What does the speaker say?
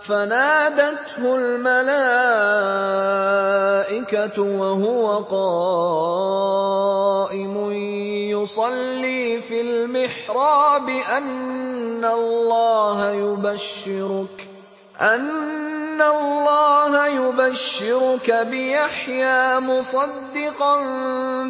فَنَادَتْهُ الْمَلَائِكَةُ وَهُوَ قَائِمٌ يُصَلِّي فِي الْمِحْرَابِ أَنَّ اللَّهَ يُبَشِّرُكَ بِيَحْيَىٰ مُصَدِّقًا